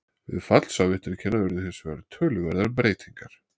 Við fall Sovétríkjanna urðu hins vegar töluverðar breytingar.